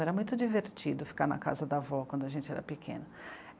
Era muito divertido ficar na casa da avó quando a gente era pequena.